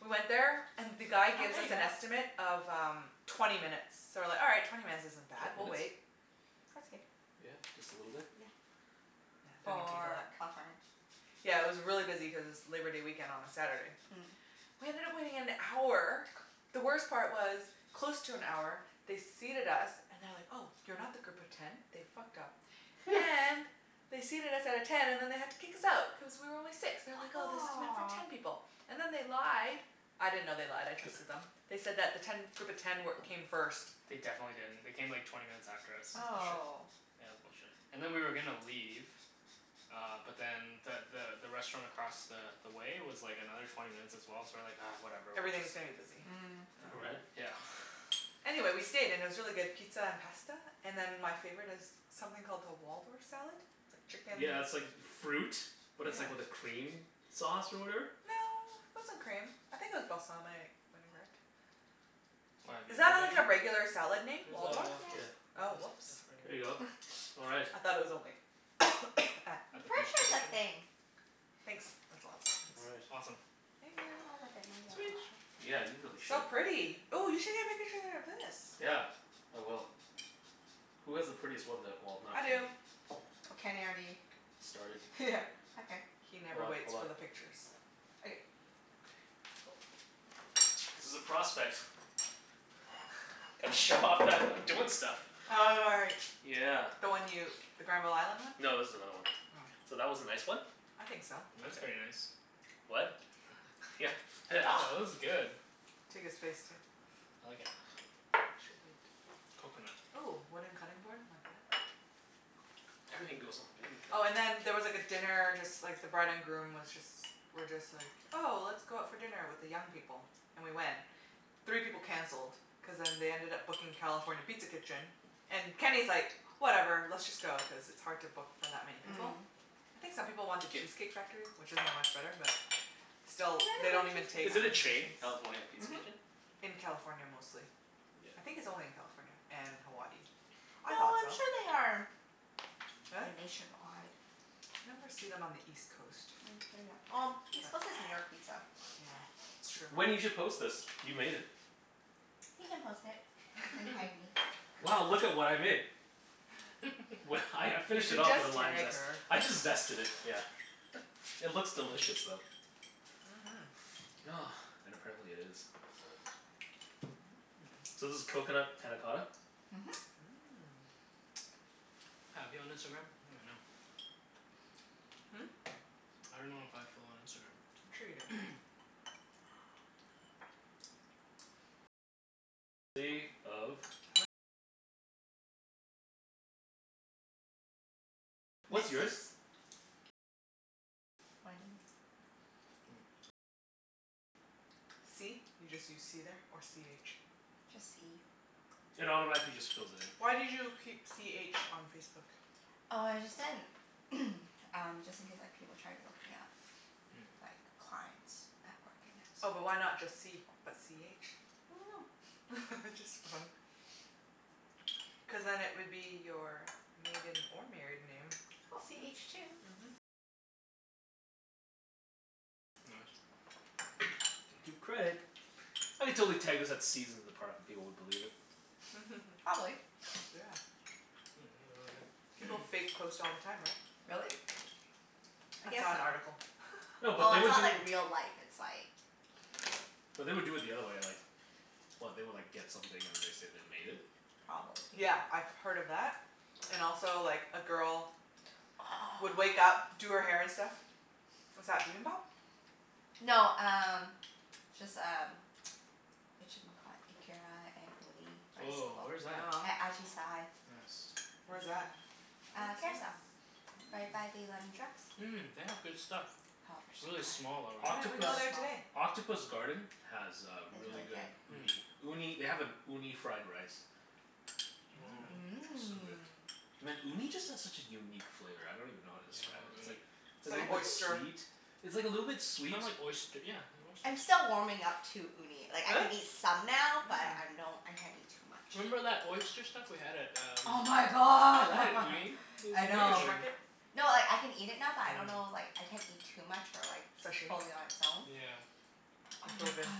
We went there and the guy Oh, gives there us ya an go. estimate of um twenty minutes. So we're like, "All right. Twenty minutes isn't bad. Twenty We'll wait." minutes? That's good. Yeah? Just a little bit? Yeah. Yeah, don't need to For eat California? Yeah, it was really busy cuz it's Labor Day weekend on a Saturday. Mm. We ended up waiting an hour. The worst part was, close to an hour they seated us and they're like, "Oh, you're not the group of ten." They fucked up and they seated us at a ten and then they had to kick us out, cuz we were only six. They're like, Ah "Oh, this is meant for ten aw. people." And then they lied. I didn't know they lied. I trusted them. They said that the ten group of ten wer- came first. They definitely didn't. They came like twenty minutes after us. That's bullshit. Oh. Yeah, it was bullshit. And then we were gonna leave uh but then the the the restaurant across the the way was like another twenty minutes as well, so we're like, "Ah, whatever, we're just" Everything's gonna be busy. Mm. Yeah. Right? Yeah. Anyway, we stayed. And it was really good pizza and pasta. And then my favorite is something called the Waldorf salad. It's like chicken Yeah, it's like fruit, but Yeah. it's like with a cream sauce or whatever. No, it wasn't cream. I think it was balsamic vinaigrette. Why, have you Is that heard like a of it? regular salad name? Waldorf? It Yeah. Yes. was Oh, whoops. a There you go. All right. I thought it was only at At I'm the pretty bistro sure it's a kitchen? thing. Thanks. That's lots, All thanks. right. Awesome. Thank I'll you. have a bit more, Sweet. yep, sure. Yeah, you really should. So pretty. Ooh, you should get a pic- picture of this. Yeah, I will. Who has the prettiest one, though? Well, not I Kenny. do. Kenny already Started. Okay. He Hold never up, waits hold for up. the pictures. Okay. Okay. Cool. This is a prospect. Gotta show off that I'm doing stuff. Oh, right. Yeah. The one you, the Granville Island one? No, this is another one. Oh. So, that was a nice one. I think so. That's very Okay. nice. What? Yeah. Oh, this is good. Take his face, too. I like it. Coconut. Ooh, wooden cutting board, like that? Everything goes on the wooden cutting Oh and board. then there was like a dinner, just like the bride and groom was just were just like, 'Oh, let's go out for dinner with the young people." And we went. Three people canceled cuz then they ended up booking California Pizza Kitchen. And Kenny's like, "Whatever, let's just go." Cuz it's hard to book for that many people. Mm. I think some people wanted 'kyou. Cheesecake Factory, which isn't much better but They have still, they don't a even good Cheesecake take Is it a Factory. chain? reservations. California Pizza Mhm. Kitchen? In California, mostly. I Yeah. think it's only in California and Hawaii. I No, thought so. I'm sure they are Really? nationwide. You never see them on the east coast. Mm maybe I'm, well, east coast is New York Pizza. Yeah, it's true. Wenny, you should post this. You made it. You can post it. And tag me. Wow, look at what I made. Well, I I You finished can it off just with the lime tag zest. her. I just zested it, yeah. It looks delicious, though. Mhm. And apparently it is. Mmm. So this is coconut panna cotta? Mhm. Mmm. I have you on Instagram? I don't even know. Hmm? I dunno if I have Phil on I'm sure you do. Instagram. What's Mrs. yours? Wenny. C? You just use c there, or c h? Just c. It automatically just fills it in. Why did you keep c h on Facebook? Oh, I just didn't um, just in case like people try to look me up. Mm. Like, clients at work, and Oh, but why that's not just c, but c h? I dunno. Just for fun. Cuz then it would be your maiden or married name. C h two. Mhm. Gotta give credit. I could totally tag this at Seasons in the Park and people would believe it. Probably. Yeah. Mmm, really good. People fake post all the time, right? Really? I I guess saw an so. article. No, but Oh, they it's would do not like real life. It's like but they would do it the other way, like What? They would like get something and then they'd say they made it? Probably. Yeah, I've heard of that and also, like, a girl would wake up, Oh. do her hair and stuff. Is that bibimbap? No, um just um Whatchamacallit? Ikara and uni rice bowl. Woah, where's that? Yum. At Ajisai. Yes. Where's that? I think Uh, I saw that Kerrisdale. one. Right by the Mm. London Drugs. Mmm, they have good stuff. Oh, they're so Really good. small though, Why didn't right? we Octopus go Really there small. today? Octopus Garden has uh Is really really good good. uni. Hmm. Uni, they have an uni fried rice. Mmm. Woah. So good. Mmm. Man, uni just has such a unique flavor. I don't even know how to Yeah, I describe love it. It's uni. like It's a like little bit oyster. sweet, it's like a little bit It's sweet kinda like oyst- yeah, they're I'm oysters. still warming up to uni. Like, I Really? can eat some now, but Mm. I'm don't, I can't eat too much. Remember that oyster stuff we had at um Oh my Yeah, that had god. Mm. uni. It was I Fish know. amazing. market? No, like I can eat it now but I don't know Mhm. like, I can't eat too much or like Sashimi? fully on its own. Yeah. But oh It's my so god, good.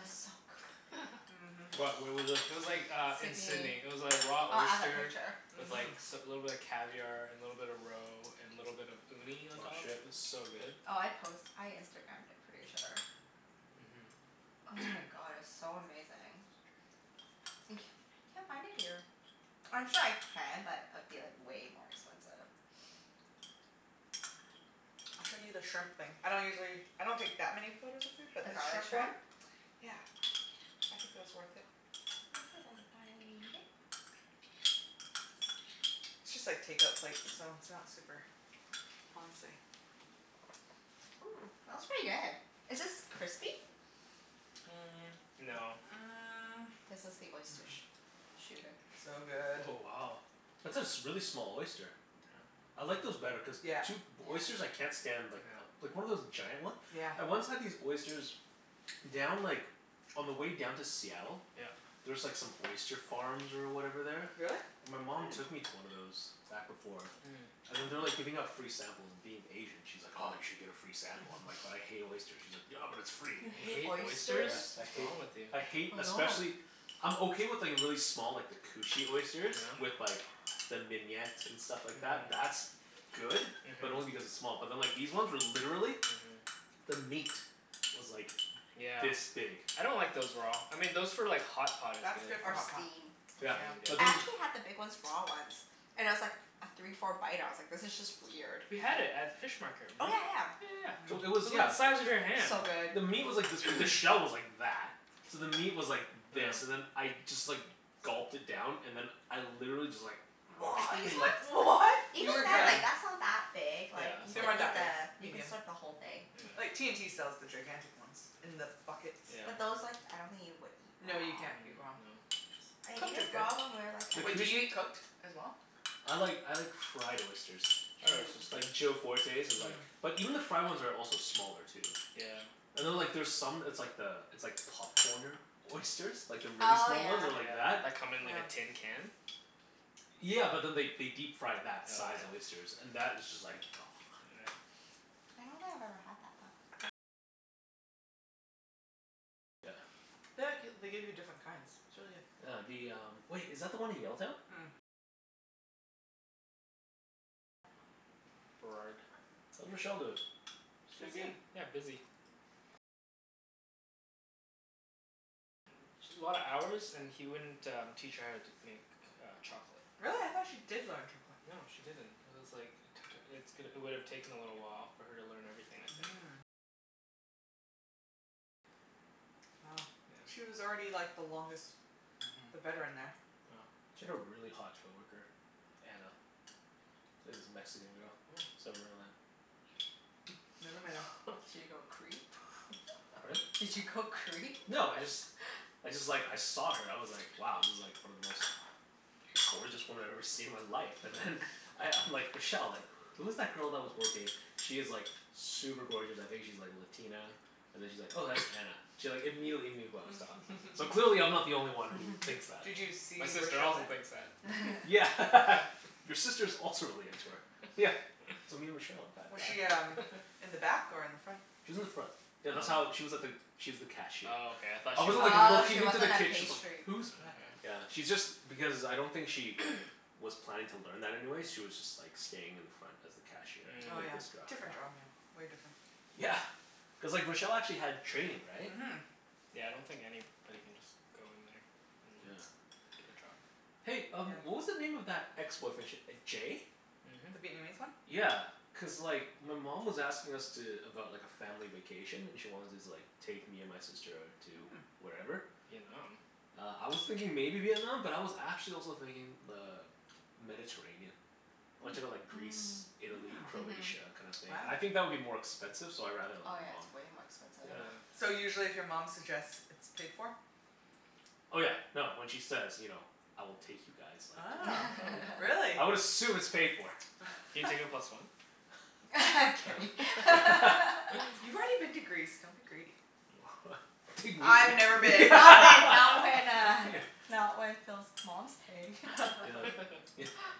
it's so good. Mhm. What? Where was this? It was like uh in Sidney. Sidney. It was like raw Oh, I have a oyster picture. with like Mhm. s- a little bit of caviar and a little bit of roe and a little bit of uni on Aw, top. It shit. was so good. Oh, I post, I Instagramed it, pretty sure. Mhm. Oh my god, it was so amazing. And c- can't find it here. I'm sure I can but it'd be like way more expensive. I'll show you the shrimp thing. I don't usually, I don't take that many photos of food, but The this garlic shrimp one shrimp? Yeah, I think it was worth it. Let me see if I can find it. It's just like take-out plates so it's not super fancy. Ooh, that was pretty good. Is this crispy? Mm, no. Mm. This was the Mm- oyster mm. sh- shooter. So good. Oh, wow. That's a s- a really small oyster. Yeah. I like those better cuz Yeah. two, oysters Yeah. I can't stand like Yeah. like one of those giant one? Yeah. I once had these oysters down like, on the way down to Seattle. Yeah. There's like some oyster farms or whatever there. Really? My mom took Hmm. me to one of those, back before. Hmm. And then they're Mm. like giving out free samples, and being Asian she's like, "Oh, you should get a free sample." I'm like, "But I hate oysters." She's like, "Yeah, but it's free." You You hate hate oysters? Yeah, oysters? I What's hate, wrong with you? I hate, I know. especially I'm okay with like really small, like the cushy Yeah? oysters. With like the mignonette and stuff like that. That's good. Mhm. But only Mhm. because it's small. But then like these ones were literally Mhm. the meat was like Yeah. this big. I don't like those raw. I mean those for like hot pot is That's good. good for Or hot pot. steam. Or Yeah, Yeah. but steamed, I yeah. then actually had the big ones raw once. And I was like af- three four bite ah I was like this is just weird. We had it at fish market, Oh, remember? yeah yeah. Yeah yeah So yeah. it It Mm. was was, the yeah. size of your hand. So good. The meat was like this b- the shell was like that. So the meat was like Yeah. this and then I just like gulped it down. And then I literally just like Like these ones? What? You Even then, regurg- Yeah. like that's not that big. Yeah, Like, you it's They could weren't not eat that that big. big. the you can Medium. suck the whole thing. Like, Yeah yeah. T&T sells the gigantic ones in the buckets. Yeah. But those like, I don't think you would eat No, raw. you Mm, can't eat no. raw. I ate Cooked is it good. raw when we were like The at Wait, do you a cush- eat cooked as well? I like, I like fried oysters. Fried oyster's Mmm. good. Like Joe Fortes' is like Mm. but even the fried ones are also smaller, too. Yeah. And then like Mhm. there's some, it's like the, it's like popcornered oysters. Like the really Oh, small yeah. ones that are like Yeah. that. That come in like Yeah. a tin can? Yeah, but then they they deep fry Oh that size yeah? oysters. And that is just like Right. The g- they give you different kinds. It's really good. Yeah, the um, wait, is that the one in Yaletown? Burrard. How's Rochelle doin'? She's doing Busy. good. Yeah, busy. Sh- a lot of hours and he wouldn't um teach her how to make uh chocolate. Really? I thought she did learn chocolate. No, she didn't. It was like it took, it's g- it would've taken a little while for her to learn everything, I think. Yeah. Mhm. Yeah. She had a really hot coworker. Anna. It was a Mexican girl. I Mm. still remember that. Never met her. Did you go creep? Pardon? Did you go creep? No, I just I just like, I saw her. I was like, wow, this is like one of the most gorgeous women I've ever seen in my life. And then I I'm like, "Rochelle, like, who is that girl that was working?" "She is like super gorgeous. I think she's like Latina?" And then she's like, "Oh, that's Anna." She like immediately knew who I was talking about. So clearly I'm not the only one who thinks that. Did you My see sister Rochelle also there? thinks that. Yeah. Your sister's also really into her. Yeah. So me and Rochelle Was have she had um in the back or in the front? She was in the front. Oh. Yeah, Oh, that's how, Mm. she was at the, she was the cashier. okay, I thought I she wasn't like worked at Mm. Oh, a she looking into the wasn't a kitchen like Oh, pastry yeah "Who's back" yeah. Yeah, she's just, because I don't think she was planning to learn that anyway. She was just like staying in the front as the cashier. Oh Like yeah. Mm. Different job, yeah. Way different. Yeah. Cuz like Rochelle actually had training, right? Mhm. Yeah, I don't think anybody can just go in there. And Yeah. yeah, get a job. Hey um Yeah. what was the name of that ex-boyfriend? Sh- uh Jay? The Mhm. Vietnamese one? Yeah, cuz like my mom was asking us to, about like a family vacation and she wanted to like take me and my sister to Mm. wherever. Vietnam? Uh, I was thinking maybe Vietnam, but I was actually also thinking uh Mediterranean. I wanna check out Hmm. like Greece, Mm. Italy, Mm. Mhm. Croatia, kinda thing. And Wow. I think that would be more expensive, so I'd rather go Oh, with yeah, it's mom. way more expensive. Yeah. Yeah. So usually if your mom suggests, it's paid for? Oh yeah, no, when she says, you know "I will take you guys," like, Ah, yeah, really? I would assume it's paid for. Can you take a plus one? Kenny. You've already been to Greece. Don't be greedy. Take me. I've never I been. went not when uh not when Phil's mom's paying. Yeah. Yeah.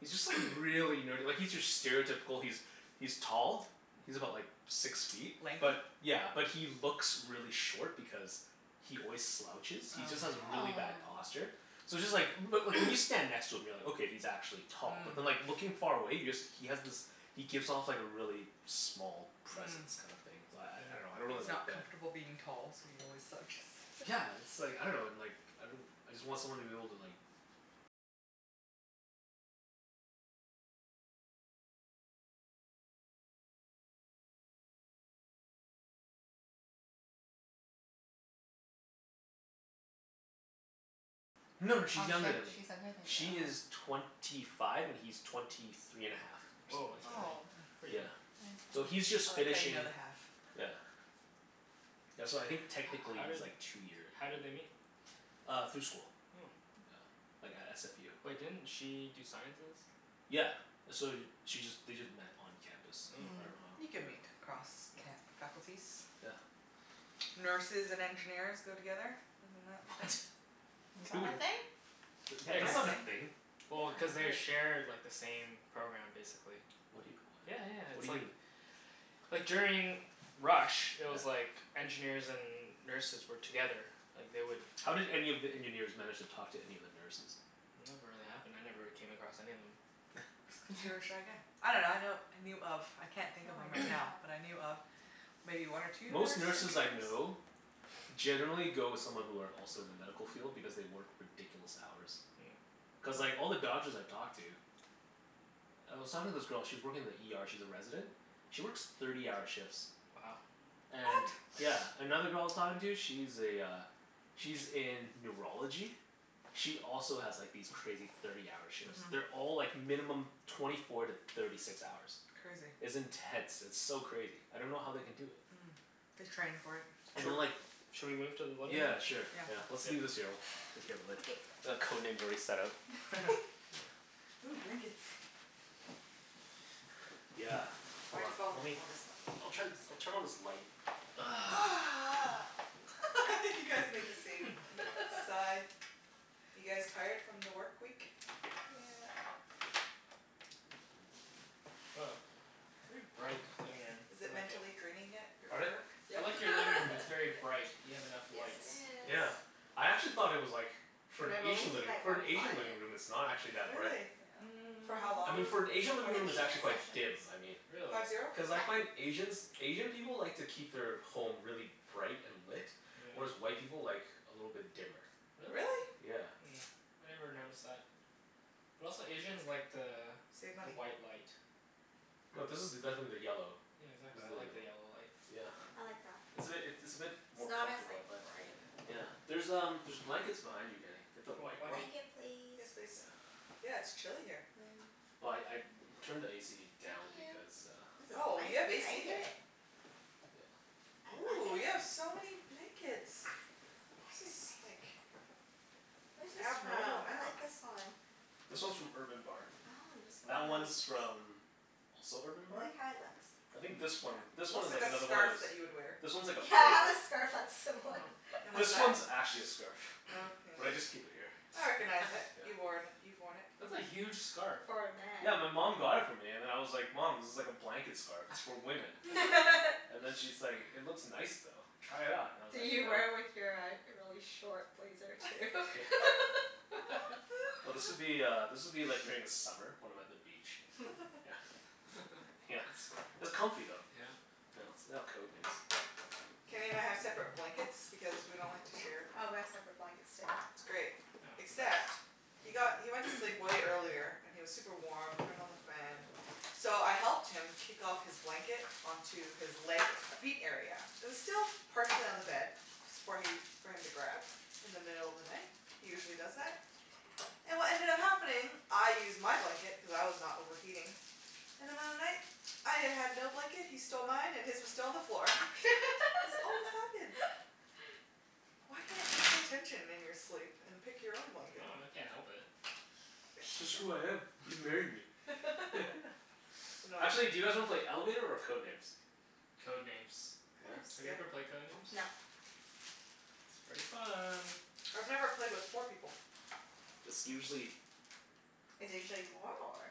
he's just like really nerdy. Like he's your stereotypical, he's he's tall. He's about like six feet. Lanky? But yeah, but he looks really short because he always slouches. He just Oh. has Mm. really bad Oh. posture. So it's just like, but like when you stand next to him you're like, "Okay, he's actually tall." But then Mm. like looking far away, he just, he has this he gives off like a really small Mm. presence kinda thing. So I I dunno, Mm. I don't He's really like not that. comfortable being tall so he always slouches. Yeah, it's like, I dunno and like, I I just want someone to be able to like No no Oh, sh- she's younger than me. she's younger than She you. is Oh. twenty five and he's twenty three and a half, or Woah, something that's like that. Oh. pretty pretty Yeah. young. So That he's is nice. I just like how you finishing, know the half. yeah Yeah, so I think How technically did he's like two year how did they meet? Uh through school. Oh. Yeah, like at SFU. Wait, didn't she do sciences? Yeah. So she just, they just met on campus. I Oh. dunno Mm. how, You can yeah. meet across ca- Mm. faculties. Yeah. Nurses and engineers go together. Isn't that the What? thing? Is Who that woul- a thing? Yeah, cuz that's not a Apparently, thing. yeah. well, cuz I've they heard. share like the same program, basically. What do you, Yeah yeah, what? What it's do you like mean? like during rush, it Yeah. was like engineers and nurses were together. Like, they would How did any of the engineers manage to talk to any of the nurses? It never really happened. I never really came across any of them. Cuz you're a shy guy. I dunno, I know, I knew of I can't think Oh, of I him right didn't know now, that. but I knew of maybe one or two Most nurse nurses I engineers? know generally go with someone who are also in the medical field because they work ridiculous hours. Mm. Cuz like Mm. all the doctors I've talked to I was talking to this girl, she was working in the ER, she's a resident she works thirty-hour shifts. Wow. What? And yeah. Another girl I was talking to, she's a uh she's in neurology. She also has like these crazy thirty-hour shifts. Mhm. They're all like minimum twenty four to thirty six hours. Crazy. It's intense. It's so crazy. I don't know how they can do it. Mm. They train for it. And then Sho- like should we move to the living Yeah, room? sure. Yeah. Yeah. Let's leave this here. We'll take care of it later. Okay. The Code Name's already set out. Ooh, blankets. Yeah. Hold Why'd on. you follow me? You Lemme, want this one I'll turn, I'll turn on this light. Corner. You guys make the same sigh. You guys tired from the work week? Yeah. Woah, very bright living room. Is it I like it. mentally draining yet? Your Pardon? work? I Yep. like your living room. It's very bright. You have enough Yes, lights. it is. Yeah. I actually thought it was like, for And an I've only Asian seen living, like for an one Asian living client. room it's not actually that bright. Really? Yeah. For how I long mean, for an is the Asian living room Fifty it's actually minute quite sessions. dim, I mean. Really? Five zero? Cuz I Yeah. find Asians, Asian people like to keep their home really bright and lit. Whereas Yeah. white people like a little bit dimmer. Really? Really? Yeah. Hmm. I never noticed that. But also Asians like the Save the money. white light. No, this is definitely the yellow. Yeah, exactly. This is I the like the yellow. yellow light. Yeah. I like that. It's a bit, it it's a bit It's more not as comfortable, like I find. bright. Yeah. There's um, there's blankets behind you Kenny. Get the Do you want white one. blanket? Blanket please? Yes, please. Yeah. Yeah, it's chilly here. Yeah. Well I I turned the AC Thank down you. because uh This is Oh, nice you have AC here? blanket. Yeah. I like Ooh, you have it. so many blankets. This is like Where's this Yeah. abnormal from? I amount. like this one. This one's from Urban Barn. Oh, I'm just That gonna like one's from also Urban I Barn? like how it looks. I think Yeah, Mmm. this one, this one looks is like like a another one of scarf those that you would wear. This one's like a Yeah, I have foldover. a scarf that's similar. And what's This that? one's actually a scarf. Oh, yeah. But I just keep it here. I recognize it. Yeah. You worn, you've worn it That's before. a huge scarf. For a man. Yeah, my mom got it for me and then I was like, "Mom, this is like a blanket scarf. It's for women." And then she's like, "It looks nice though. Try it on." And I was like, Did you "No." wear it with your uh really short blazer, too? Yeah. No, this would be uh, this would be like during the summer when I'm at the beach. Yeah. Yeah. It's it's comfy though. Yeah? Yeah. Let's lay out Code Names. Kenny and I have separate blankets because we don't like to share. Oh, we have separate blankets, too. It's great, Yeah, it's the best. except he got, he went to sleep way earlier, and he was super warm. Turned on the fan. So I helped him kick off his blanket onto his leg, feet area. It was still partially on the bed. S- for he, for him to grab, in the middle of the night. He usually does that. And what ended up happening, I used my blanket cuz I was not overheating. In the middle of the night, I y- had no blanket, he stole mine, and his was still on the floor. This always happens. Why can't you pay attention in your sleep and pick your own I blanket? dunno. I can't help it. It's just who I am. You married me. I know. Actually, do you guys wanna play Elevator or Code Names? Code Names. Code Yeah? Names is Have you good. ever played Code Names? No. It's pretty fun. I've never played with four people. It's usually Is it usually more, or?